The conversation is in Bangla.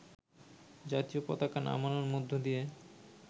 জাতীয় পতাকা নামানোর মধ্য দিয়ে